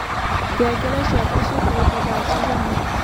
ngengere cĩakwa cĩĩkĩrĩtwo thaa cĩĩgana